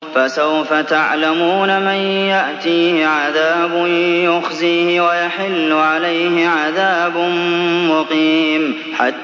فَسَوْفَ تَعْلَمُونَ مَن يَأْتِيهِ عَذَابٌ يُخْزِيهِ وَيَحِلُّ عَلَيْهِ عَذَابٌ مُّقِيمٌ